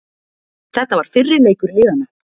Þetta var fyrri leikur liðanna